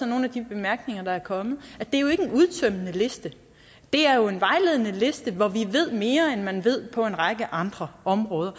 nogle af de bemærkninger der er kommet at udtømmende liste det er jo en vejledende liste hvor vi ved mere end man ved på en række andre områder